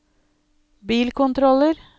bilkontroller